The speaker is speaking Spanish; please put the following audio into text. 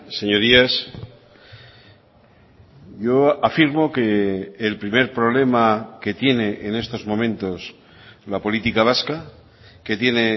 señorías yo afirmo que el primer problema que tiene en estos momentos la política vasca que tiene